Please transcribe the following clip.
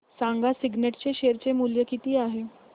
सांगा सिग्नेट चे शेअर चे मूल्य किती आहे